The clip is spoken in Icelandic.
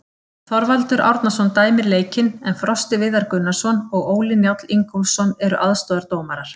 Þorvaldur Árnason dæmir leikinn en Frosti Viðar Gunnarsson og Óli Njáll Ingólfsson eru aðstoðardómarar.